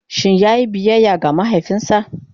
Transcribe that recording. Shin ya yi biyayya ga mahaifinsa?